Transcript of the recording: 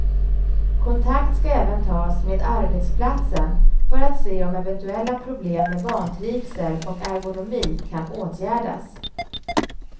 Kontakt ska även tas med arbetsplatsen för att se om eventuella problem med vantrivsel och ergonomi kan åtgärdas.